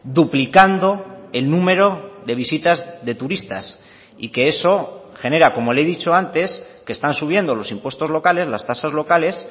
duplicando el número de visitas de turistas y que eso genera como le he dicho antes que están subiendo los impuestos locales las tasas locales